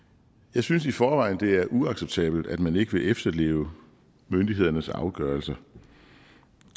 jeg synes i forvejen at det er uacceptabelt at man ikke vil efterleve myndighedernes afgørelser